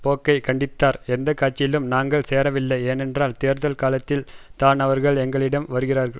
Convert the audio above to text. போக்கை கண்டித்தார் எந்த கட்சியிலும் நாங்கள் சேரவில்லை ஏனென்றால் தேர்தல் காலத்தில் தான் அவர்கள் எங்களிடம் வருகிறார்கள்